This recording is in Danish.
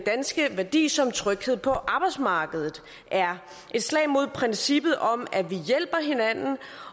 danske værdi som tryghed på arbejdsmarkedet er et slag mod princippet om at vi hjælper hinanden